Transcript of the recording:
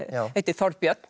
Þorbjörn